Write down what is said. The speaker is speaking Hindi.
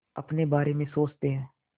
अपने बारे में सोचते हैं